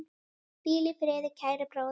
Hvíl í friði, kæri bróðir.